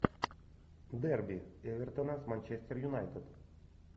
дерби эвертона с манчестер юнайтед